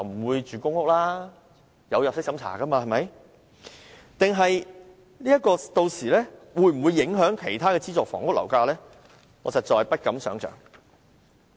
還有，"綠置居"屆時會否影響其他資助房屋的樓價？我實在不敢想象。